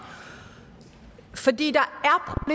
fordi der